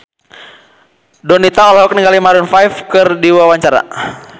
Donita olohok ningali Maroon 5 keur diwawancara